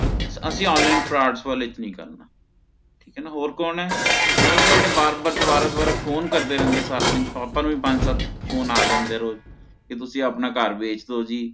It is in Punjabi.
ਅਸੀ online frauds ਵਾਲਾ ਚ ਨੀ ਕਰਨਾ ਹੋਰ ਕੋਨ ਹੈ ਮਤਲਬ ਤਾ ਜਿਹੜੇ ਬਾਰ ਬਾਰ ਦ੍ਵਾਰਾ ਦ੍ਵਾਰਾ ਫੋਨੇ ਕਰਦੇ ਰਹਿੰਦੇ ਨੇ ਸਾਰਾ ਦਿਨ stokers ਵੀ ਪੰਜ ਸੱਤ ਫੋਨੇ ਆ ਜਾਂਦੇ ਨੇ ਕੀ ਆਪਣਾ ਘਰ ਵੇਚ ਦੋ ਜੀ